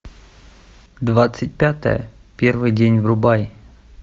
двадцать пятое первый день врубай